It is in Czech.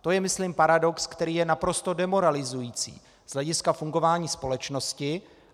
To je myslím paradox, který je naprosto demoralizující z hlediska fungování společnosti.